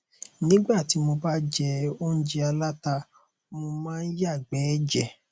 nígbà tí mo ba jẹ óúnjẹ aláta mo máa ń yàgbẹ ẹjẹ